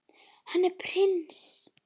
Hann er prins.